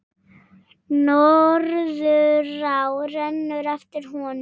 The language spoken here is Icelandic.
Norðurá rennur eftir honum.